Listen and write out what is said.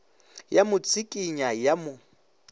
ya mo tsikinya ya mo